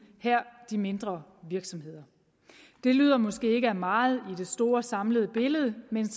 her de mindre virksomheder det lyder måske ikke af meget i det store samlede billede men